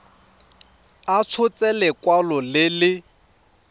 a tshotse lekwalo le le